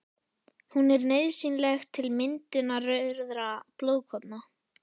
Hún er nauðsynleg til myndunar rauðra blóðkorna.